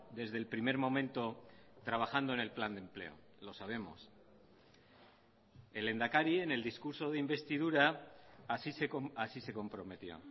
desde el primer momento trabajando en el plan de empleo lo sabemos el lehendakari en el discurso de investidura así se comprometió